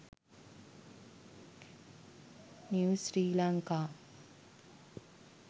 news sri lanka